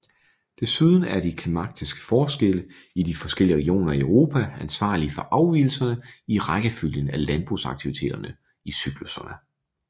Desuden er de klimatiske forskelle i de forskellige regioner i Europa ansvarlige for afvigelserne i rækkefølgen af landbrugsaktiviteterne i cyklusserne